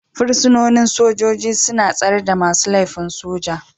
Fursunonin sojoji suna tsare da masu laifin soja